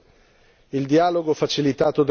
e per la sua progressiva attuazione.